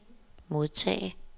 modtage